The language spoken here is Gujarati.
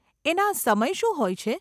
એના સમય શું હોય છે?